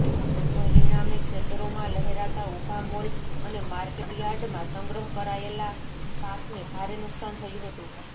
પરિણામે ખેતરોમાં લહેરાતા ઊભા મોલ અને માર્કેટયાર્ડમાં સંગ્રહ કરાયેલા પાકને ભારે નુકસાન થયું હતું